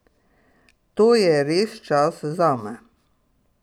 To je res čas zame.